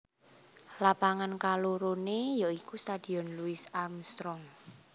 Lapangan kaloroné ya iku Stadion Louis Armstrong